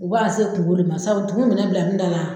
U b'a se kungo de ma sabu tumu minɛ bila ne da la.